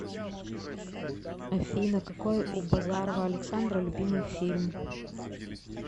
афина какой у базарова александра любимый фильм